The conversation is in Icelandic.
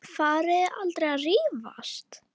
Farið þið aldrei að rífast?